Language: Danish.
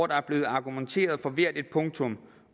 der er blevet argumenteret for hvert et punktum